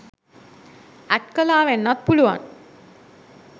ඇට් කළා වෙන්නත් පුළුවන්